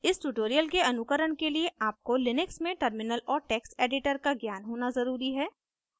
इस ट्यूटोरियल के अनुकरण के लिए आपको लिनक्स में टर्मिनल और टेक्स्ट एडिटर का ज्ञान होना ज़रूरी है